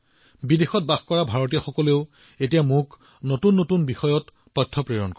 আৰু বিদেশত বাস কৰা আমাৰ ভাৰতীয় সম্প্ৰদায়ৰ লোকসকলেও মোক বহুতো নতুন তথ্য দি থাকে